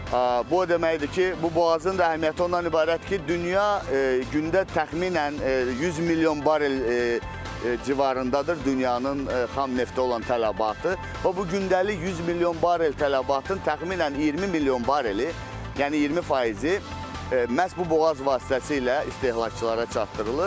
Bu o deməkdir ki, bu boğazın da əhəmiyyəti ondan ibarətdir ki, dünya gündə təxminən 100 milyon barel civarındadır dünyanın xam neftə olan tələbatı və bu gündəlik 100 milyon barel tələbatın təxminən 20 milyon bareli, yəni 20 faizi məhz bu boğaz vasitəsilə istehlakçılara çatdırılır.